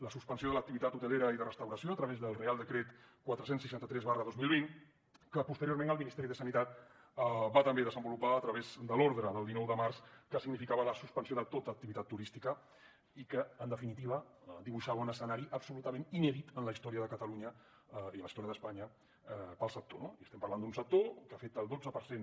la suspensió de l’activitat hotelera i de restauració a través del reial decret quatre cents i seixanta tres dos mil vint que posteriorment el ministeri de sanitat va també desenvolupar a través de l’ordre del dinou de març que significava la suspensió de tota activitat turística i que en definitiva dibuixava un escenari absolutament inèdit en la història de catalunya i en la història d’espanya per al sector no i estem parlant d’un sector que afecta el dotze per cent